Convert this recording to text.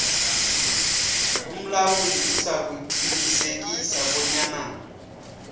umlamuli uzakuqinisekisa bonyana